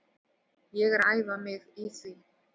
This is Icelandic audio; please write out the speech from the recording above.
Ég er að æfa mig í því.